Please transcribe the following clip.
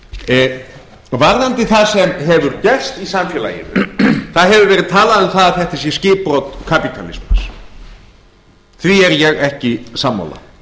hegðun varðandi það sem hefur gerst í samfélaginu það hefur verið talað um að þetta sé skipbrot kapítalismans því er ég ekki sammála